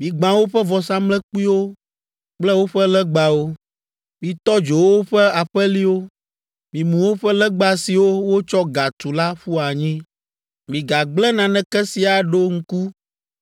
Migbã woƒe vɔsamlekpuiwo kple woƒe legbawo. Mitɔ dzo woƒe aƒeliwo. Mimu woƒe legba siwo wotsɔ ga tu la ƒu anyi. Migagblẽ naneke si aɖo ŋku